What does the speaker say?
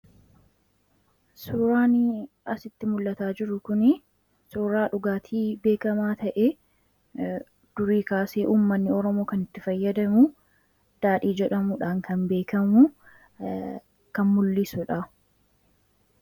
Suuraanii asirratti mul'ataa jiru kunii suuraa dhugaatii beekkamaa ta'ee durii kaasee uummanni oromoo kan itti fayyadamuu daadhii jedhamuudhaan kan beekkamu kan mul'isudha.